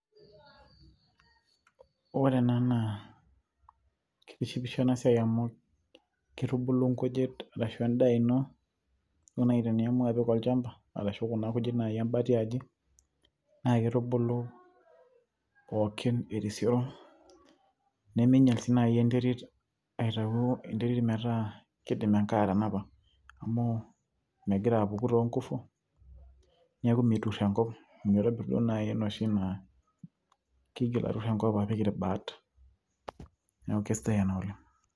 ore ena naa kitishipisho ena siai amu kitubulu nkujit arashu endaa ino duo naaji teniamua apik olchamba arashu kuna kujit naaji embata iaji naa kitubulu pookin erisioro neminyial sii naaji enterit aitau enterit metaa kidim enkare atanapa amu megira apuku toonkufu niaku meturr enkop mitobirr duo naaji enoshi naa kiigil aturr enkop apik irbaat neeku kesidai ena oleng.